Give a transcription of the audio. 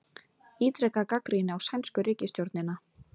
Ítreka gagnrýni á sænsku ríkisstjórnina